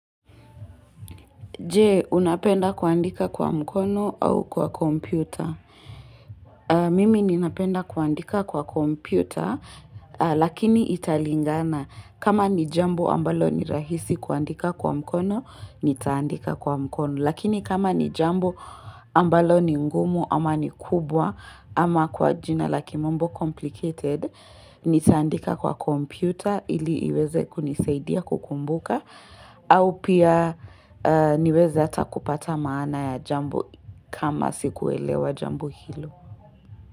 Je, unapenda kuandika kwa mkono au kwa kompyuta? Mimi ninapenda kuandika kwa kompyuta, lakini italingana. Kama ni jambo ambalo ni rahisi kuandika kwa mkono, nitaandika kwa mkono. Lakini kama ni jambo ambalo ni ngumu, ama ni kubwa, ama kwa jina la kimombo complicated, nitaandika kwa kompyuta, ili iweze kunisaidia kukumbuka, au pia niweza hata kupata maana ya jambo kama sikuelewa jambo hilo.